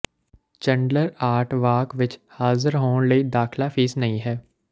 Chandler art walk ਵਿਚ ਹਾਜ਼ਰ ਹੋਣ ਲਈ ਦਾਖਲਾ ਫੀਸ ਨਹੀਂ ਹੈ